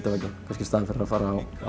kannski í staðinn fyrir að fara á